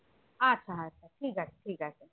আচ্ছা আচ্ছা ঠিক আছে ঠিক আছে